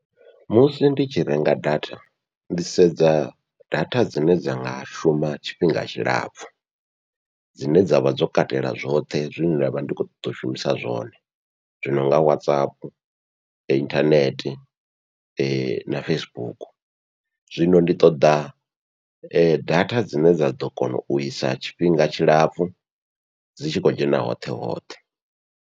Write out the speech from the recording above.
Musi ndi tshi renga data ndi sedza data dzine dza nga shuma tshifhinga tshilapfhu dzine dzavha dzo katela zwoṱhe zwine nda vha ndi khou ṱoḓa u shumisa zwone, zwi nonga WhatsApp, inthanethe na Facebook zwino ndi ṱoḓa data dzine dza ḓo kona uisa tshifhinga tshilapfhu dzi tshi khou dzhena hoṱhe hoṱhe.